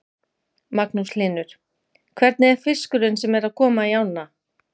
Magnús Hlynur: Hvernig er fiskurinn sem er að koma í ána?